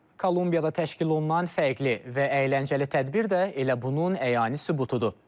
Kolumbiyada təşkil olunan fərqli və əyləncəli tədbir də elə bunun əyani sübutudur.